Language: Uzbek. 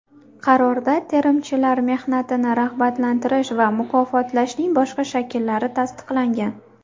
Qarorda terimchilar mehnatini rag‘batlantirish va mukofotlashning boshqa shakllari tasdiqlangan.